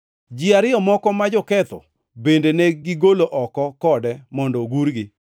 Ji ariyo moko, ma joketho, bende negigolo oko kode mondo ogurgi.